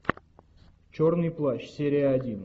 черный плащ серия один